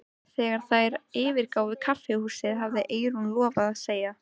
Þegar þær yfirgáfu kaffihúsið hafði Eyrún lofað að segja